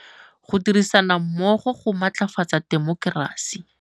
Go dirisana mmogo go matlafatsa temokerasi.